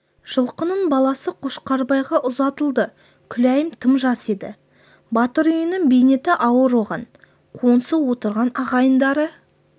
жылқының баласы қошқарбайға ұзатылды күләйім тым жас еді батыр үйінің бейнеті ауыр оған қоңсы отырған ағайындары